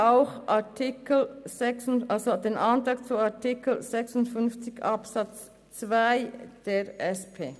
Wir unterstützen auch den Eventualantrag zu Artikel 56 Absatz 2 der SP-JUSO-PSAFraktion.